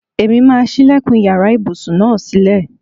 Èmi máà ń sílẹ̀kùn iyàrá ibùsùn náà sílè.